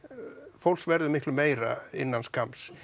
fólks verður miklu meira innan skamms